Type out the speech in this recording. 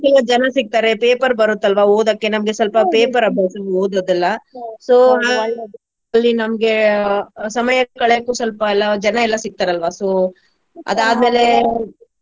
ಜನಾ ಸಿಗ್ತಾರೆ paper ಬರುತ್ತಲ್ವಾ ಓದೋಕೆ ನಮ್ಗೆ paper ಅಭ್ಯಾಸ ಓದೋದೆಲ್ಲಾ ಅಲ್ಲಿ ನಮ್ಗೆ ಸಮಯ ಕಳೆಯಕ್ಕೂ ಸ್ವಲ್ಪ ಎಲ್ಲಾ ಜನಾ ಎಲ್ಲಾ ಸಿಗ್ತಾರಲ್ವಾ so .